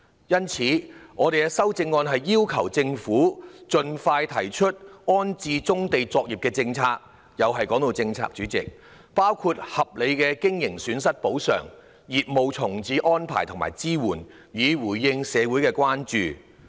因此，我的修正案要求政府盡快提出安置棕地作業的政策——代理主席，又提到政策——包括合理的經營損失補償、業務重置的安排及支援，以回應社會的關注。